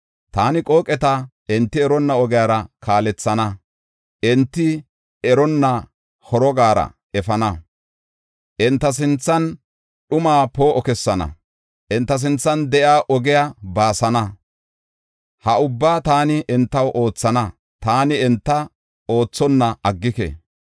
Taani qooqeta enti eronna ogiyara kaalethana; enti eronna horogara efana. Enta sinthan dhumaa poo7o kessana; enta sinthan de7iya ogiya baasana. Ha ubbaa taani entaw oothana; taani enta oothonna aggike.